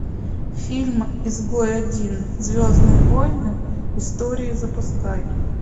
фильм изгой один звездные войны истории запускай